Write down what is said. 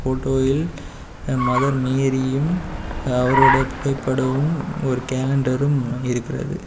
ஃபோட்டோயில் mother மேரியும் அவரோட புகைப்படமும் ஒரு கேலண்டரும் இருக்கிறது.